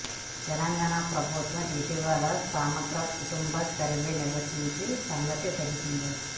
తెలంగాణ ప్రభుత్వం ఇటీవల సమగ్ర కుటుంబ సర్వే నిర్వహించిన సంగతి తెలిసిందే